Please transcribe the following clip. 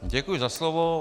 Děkuji za slovo.